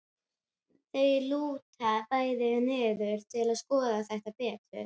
Þau lúta bæði niður til að skoða það betur.